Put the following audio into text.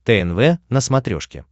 тнв на смотрешке